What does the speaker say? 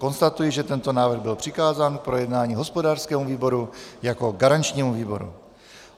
Konstatuji, že tento návrh byl přikázán k projednání hospodářskému výboru jako garančnímu výboru.